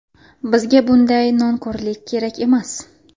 Bizga bunday nonko‘rlar kerak emas.